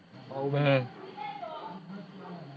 હમ